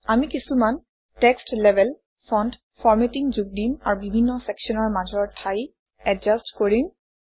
আমি কিছুমান text label font formatting যোগ দিম আৰু বিভিন্ন চেকশ্যনৰ মাজৰ ঠাই এডজাষ্ট কৰিম